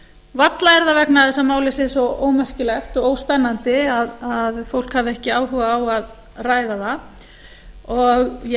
varla er það vegna þess að málið sé svo ómerkilegt og óspennandi að fólk hafi ekki áhuga á að ræða það og ég